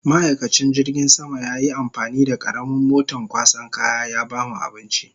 Ma'aikacin jirgin sama yayi amfani da karamin moton kwasan kaya ya bamu abinci